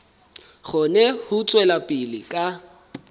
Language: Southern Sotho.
kgone ho tswela pele ka